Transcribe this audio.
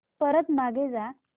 परत मागे जा